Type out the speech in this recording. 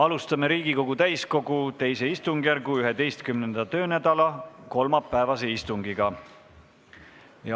Alustame Riigikogu täiskogu II istungjärgu 11. töönädala kolmapäevast istungit.